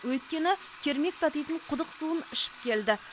өйткені кермек татитын құдық суын ішіп келді